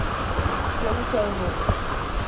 jim crow laws